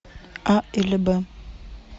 а или б